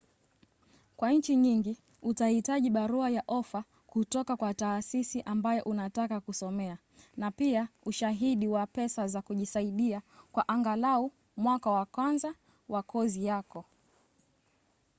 kwa nchi nyingi utahitaji barua ya ofa kutoka kwa taasisi ambayo unataka kusomea na pia ushahidi wa pesa za kujisaidia kwa angalau mwaka wa kwanza wa kozi yako